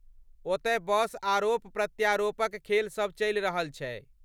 ओतय बस आरोप प्रत्यारोपक खेल सभ चलि रहल छै।